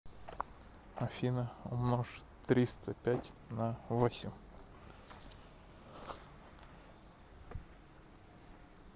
афина умножь триста пять на восемь